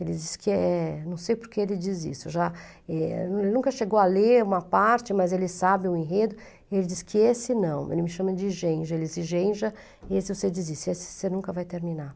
Ele diz que é, não sei porque ele diz isso, ele já, ele nunca chegou a ler uma parte, mas ele sabe o enredo, ele diz que esse não, ele me chama de genja, ele diz, genja, esse você desiste, esse você nunca vai terminar.